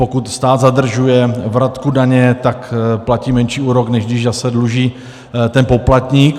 Pokud stát zadržuje vratku daně, tak platí menší úrok, než když zase dluží ten poplatník.